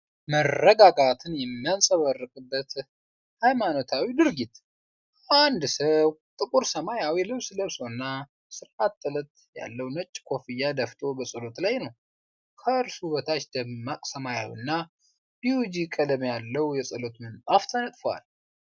መረጋጋትን የሚንጸባረቅበት የሃይማኖታዊ ድርጊት። አንድ ሰው ጥቁር ሰማያዊ ልብስ ለብሶና ስርዓተ ጥለት ያለው ነጭ ኮፍያ ደፍቶ በጸሎት ላይ ነው። ከእሱ በታች ደማቅ ሰማያዊና ቢዩጂ ቀለም ያለው የጸሎት ምንጣፍ ተነጥፏል።